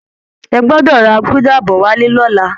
Ẹ gbọ́dọ̀ ra gúdà bọ̀ wálé lọ́la!